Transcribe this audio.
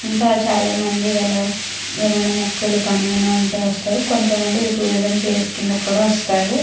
ఇంకా చాలా మంది వాళ్ళ ఏమైనా మొక్కులు కానీ ఎవన్న ఉంటే వస్తారు. కొంత మంది టూరిజం ప్లేస్ కింద కూడా వస్తారు.